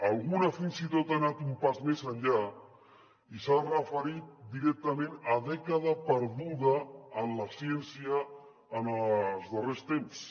alguna fins i tot ha anat un pas més enllà i s’ha referit directament a dècada perduda en la ciència en els darrers temps